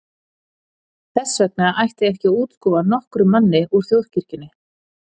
Þess vegna ætti ekki að útskúfa nokkrum manni úr Þjóðkirkjunni.